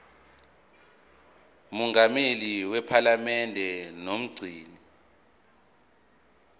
mongameli wephalamende nomgcini